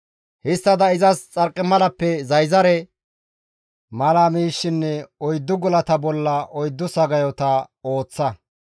Histtada izas xarqimalappe zayzare mala miishshinne oyddu gulata bollan oyddu sagayota ooththa.